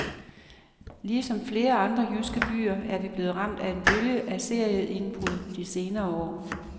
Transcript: Ligesom flere andre jyske byer er vi blevet ramt af en bølge af serieindbrud de senere år.